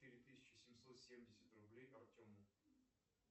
четыре тысячи семьсот семьдесят рублей артему